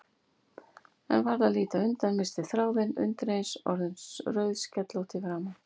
En varð að líta undan, missti þráðinn, undireins orðin rauðskellótt í framan.